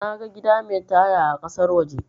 Naga gida mai taya a kasar waje